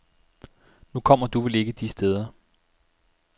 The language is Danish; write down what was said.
Nu kommer du vel ikke de steder.